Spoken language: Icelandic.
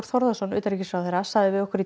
Þórðarson utanríkisráðherra sagði við okkur